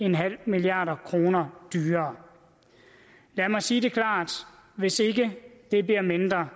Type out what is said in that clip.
milliard kroner dyrere lad mig sige det klart hvis ikke det bliver mindre